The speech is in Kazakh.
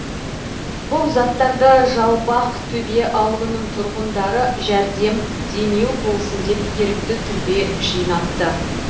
бұл заттарды жалпақтөбе ауылының тұрғындары жәрдем демеу болсын деп ерікті түрде жинапты